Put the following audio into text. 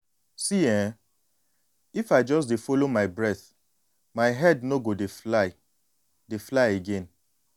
see[um]if i just dey follow my breath my head no go dey fly dey fly again